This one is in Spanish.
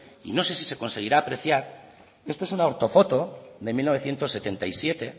y no sé si se conseguirá apreciar esto es una ortofoto de mil novecientos setenta y siete